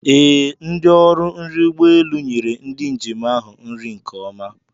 Ee, ndi ọrụ nri ụgbọ elu nyere ndị njem ahụ nri nke ọma.